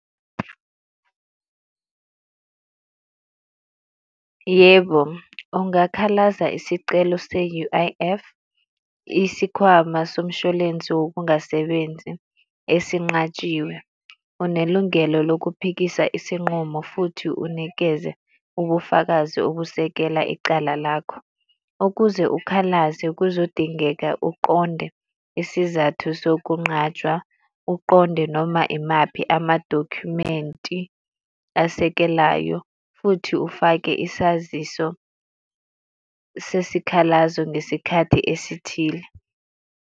Yebo, ungakhalazi isicelo se-U_I_F, isikhwama somshwalense wokungasebenzi esinqatshiwe. Unelungelo lokuphikisa isinqumo futhi unikeze ubufakazi obusekela icala lakho. Ukuze ukhalaze kuzodingeka uqonde isizathu sokunqatshwa, uqonde noma imaphi amadokhumenti asekelayo, futhi ufake isaziso sesikhalazo ngesikhathi esithile.